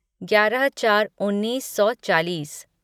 ग्यारह चार उन्नीस सौ चालीस